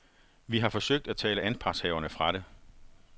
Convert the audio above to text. Vi har forsøgt at tale anpartshaverne fra det.